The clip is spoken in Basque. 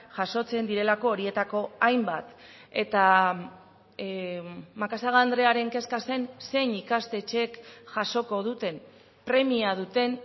jasotzen direlako horietako hainbat eta macazaga andrearen kezka zen zein ikastetxek jasoko duten premia duten